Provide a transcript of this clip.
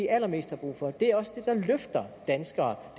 allermest brug for det er også det der løfter danskere